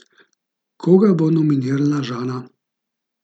Koga bo nominirala Žana?